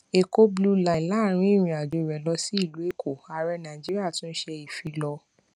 èkó blue line láàárín ìrìn àjò rè lọ sí ìlú èkó ààrẹ nàìjíríà tún ṣe ìfilọ